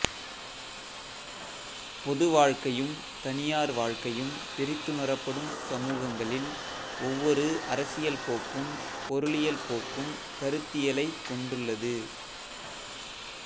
பொதுவாழ்க்கையும் தனியார் வாழ்க்கையும் பிரித்துணரப்படும் சமூகங்களில் ஒவ்வொரு அரசியல்போக்கும் பொருளியல் போக்கும் கருத்தியலைக் கொண்டுள்ளது